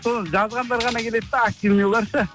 сол жазғандар ғана келеді де активныйлар ше